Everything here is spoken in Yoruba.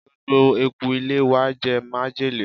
gbogbo eku ilé wa jẹ májèlé